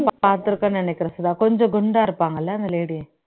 பாத்துருக்கேன்ன்னு நினைக்கிறேன் சுதா கொஞ்சம் குண்டா இருப்பாங்க இல்ல அந்த lady